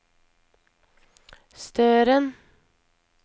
Støren